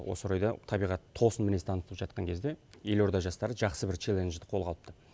осы орайда табиғат тосын мінез танытып жатқан кезде елорда жастары жақсы бір челленджді қолға алыпты